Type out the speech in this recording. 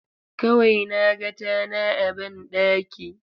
Kawai na ga tana a banɗaki.